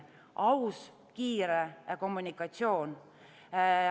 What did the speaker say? Aus, kiire kommunikatsioon.